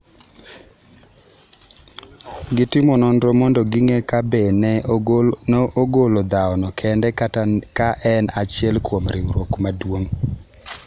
Gitimo nonro mondo ging’e ka be ne ogolo dhawono kende kata ka en achiel kuom riwruok maduong’.